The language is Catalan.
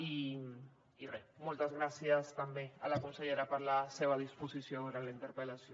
i re moltes gràcies també a la consellera per la seva disposició durant la interpel·lació